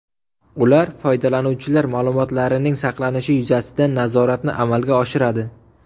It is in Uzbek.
Ular foydalanuvchilar ma’lumotlarining saqlanishi yuzasidan nazoratni amalga oshiradi.